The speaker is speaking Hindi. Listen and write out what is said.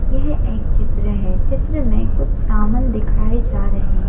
यह एक चित्र है चित्र में कुछ सामन दिखाए जा रहे हैं।